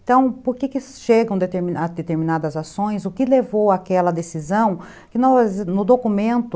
Então, por que chegam a deter determinadas ações, o que levou àquela decisão, que no documento,